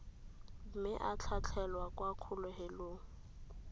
mme a tlhatlhelwa kwa kgolegelong